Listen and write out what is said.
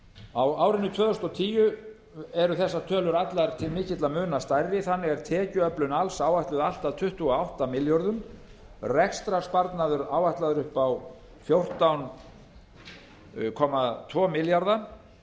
á árinu tvö þúsund og tíu eru þessar tölur allar til mikilla muna stærri þannig er tekjuöflun alls áætluð allt að tuttugu og átta milljörðum rekstrarsparnaður áætlaður upp á fjórtán komma tvö milljarð